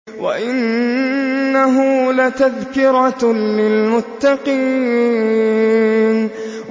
وَإِنَّهُ لَتَذْكِرَةٌ لِّلْمُتَّقِينَ